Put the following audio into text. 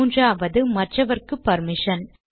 மூன்றாவது மற்றவர்க்கு பர்மிஷன்